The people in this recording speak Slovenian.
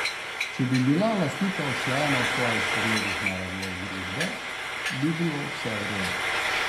Če bi bila lastnika usklajena v svojih pogledih na razvoj družbe, bi bilo vse v redu.